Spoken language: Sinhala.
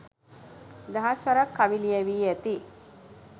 දහස් වරක් කවි ලියැවි ඇති